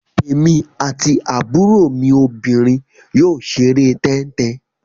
Èmi àti àbúrò mi obìnrin yóò ṣeré tẹ́ń-tẹn.